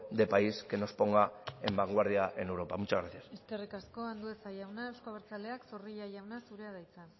de país que nos ponga de vanguardia en europa muchas gracias eskerrik asko andueza jauna euzko abertzaleak zorrilla jauna zurea da hitza